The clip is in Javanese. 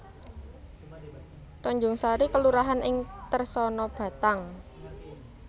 Tanjungsari kelurahan ing Tersana Batang